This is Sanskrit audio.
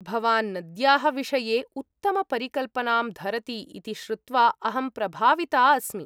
भवान् नद्याः विषये उत्तमपरिकल्पनाम् धरति इति श्रुत्वा अहं प्रभाविता अस्मि।